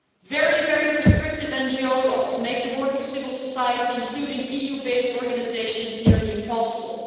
Very restrictive NGO laws make the work of civil society, including EU based organisations, nearly impossible.